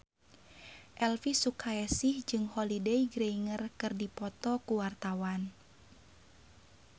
Elvy Sukaesih jeung Holliday Grainger keur dipoto ku wartawan